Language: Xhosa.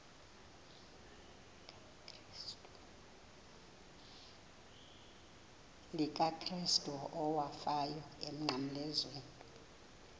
likakrestu owafayo emnqamlezweni